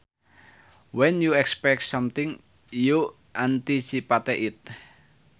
When you expect something you anticipate it